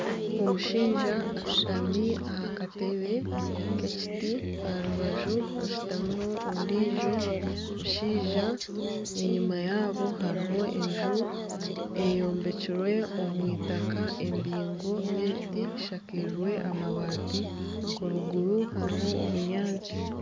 Omushaija ashutami aha katebe k'ekiti aha rubaju rwe hashutamiho ondiijo mushaija enyima yaabo hariho enju, eyombekirwe omu itaka embingo n'ebiti eshakirwe amabati eruguru hariho obunyaatsi